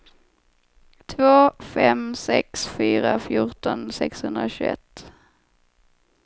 två fem sex fyra fjorton sexhundratjugoett